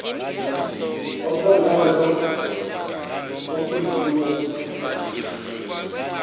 ophongolo okuyiwo umfula